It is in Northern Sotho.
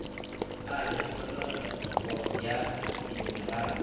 na le tlholego ya diminerale